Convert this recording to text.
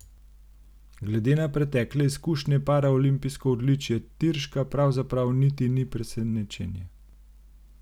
Glede na pretekle izkušnje paraolimpijsko odličje Tirška pravzaprav niti ni presenečenje.